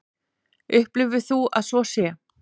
Upplifir þú að svo sé?